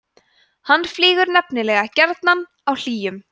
hann flýgur nefnilega gjarnan á hlýjum